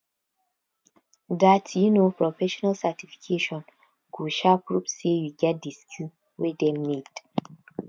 dat um professional certification go um prove sey you get di skills wey dem need